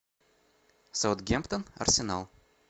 саутгемптон арсенал